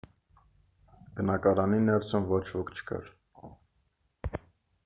բնակարանի ներսում ոչ ոք չկար